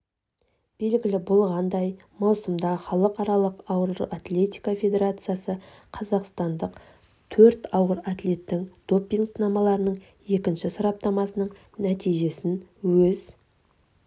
белгілі болғандай маусымда халықаралық ауыр атлетика федерациясы қазақстандық төрт ауыр атлеттің допинг-сынамаларының екінші сараптамасының нәтижесін өз